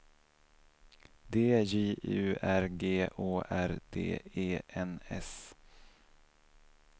D J U R G Å R D E N S